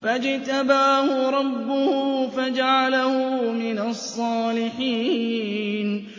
فَاجْتَبَاهُ رَبُّهُ فَجَعَلَهُ مِنَ الصَّالِحِينَ